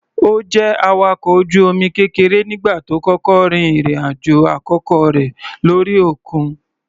Ó jẹ́ awakọ̀ ojú omi kékeré nígbà tó kọ́kọ́ rin ìrìn-àjò àkọ́kọ́ rẹ̀ lórí òkun.